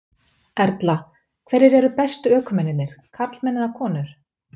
Erla: Hverjir eru bestu ökumennirnir, karlmenn eða konur?